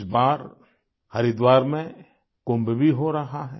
इस बार हरिद्वार में कुंभ भी हो रहा है